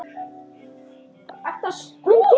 Hvert ferðu? spurði Lilla.